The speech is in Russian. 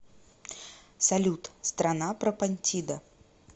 салют страна пропонтида